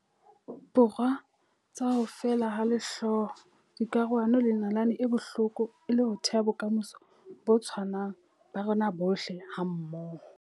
Borwa tsa ho feela ha lehloyo, dikarohano le nalane e bohloko e le ho theha bokamoso bo tshwanang ba rona bohle hammoho.